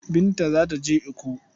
Binta za ta je Ikko.